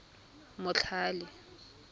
motlhale